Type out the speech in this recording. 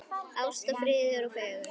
Ást, friður og fegurð.